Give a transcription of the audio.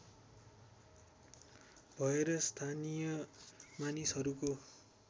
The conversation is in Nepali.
भएर स्थानीय मानिसहरूको